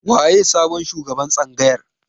Waye sabon shugaban tsangayar?